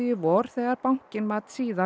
í vor þegar bankinn mat síðast